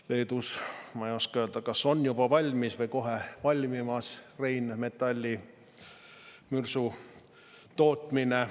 Leedus on, ma ei oska öelda, kas juba valmis või kohe valmimas Rheinmetalli mürsutootmine.